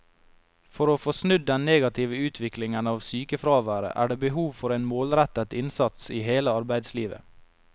For å få snudd den negative utviklingen av sykefraværet er det behov for en målrettet innsats i hele arbeidslivet.